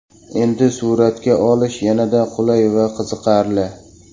Endi suratga olish yanada qulay va qiziqarli.